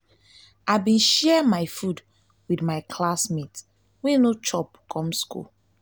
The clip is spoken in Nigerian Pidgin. i bin share my food wit my classmate wey no chop come skool.